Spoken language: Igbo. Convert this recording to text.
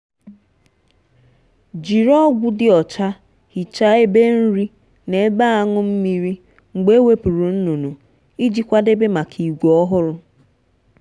jiri ọgwụ dị ọcha hichaa ebe nri na ebe aṅụ mmiri mgbe ewepụrụ nnụnụ iji kwadebe maka ìgwè ọhụrụ.